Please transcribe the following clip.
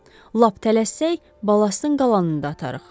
Lap tələssək, balastın qalanını da atarıq.